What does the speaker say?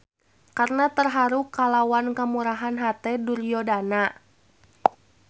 Karna terharu kalawan kemurahan hate Duryodana.